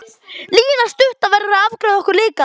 Lína stutta verður að afgreiða okkur líka.